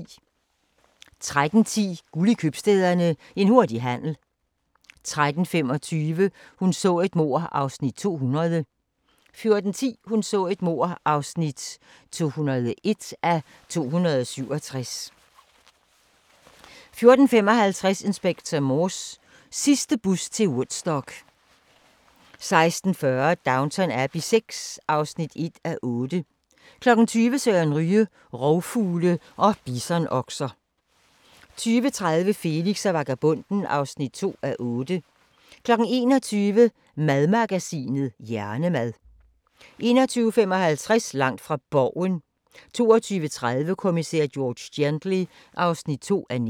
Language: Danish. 13:10: Guld i Købstæderne – En hurtig handel 13:25: Hun så et mord (200:267) 14:10: Hun så et mord (201:267) 14:55: Inspector Morse: Sidste bus til Woodstock 16:40: Downton Abbey VI (1:8) 20:00: Søren Ryge: Rovfugle og bisonokser 20:30: Felix og vagabonden (2:8) 21:00: Madmagasinet: Hjernemad 21:55: Langt fra Borgen 22:30: Kommissær George Gently (2:19)